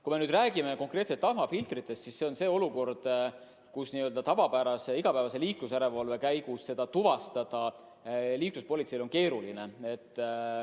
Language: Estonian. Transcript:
Kui me räägime konkreetselt tahmafiltritest, siis seda puudust on n-ö tavapärase igapäevase liiklusjärelevalve käigus liikluspolitseil keeruline tuvastada.